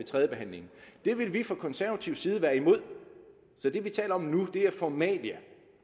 tredjebehandlingen det vil vi fra konservativ side være imod så det vi taler om nu er formalia